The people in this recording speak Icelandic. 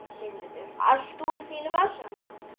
Sigmundur: Allt úr þínum vasa?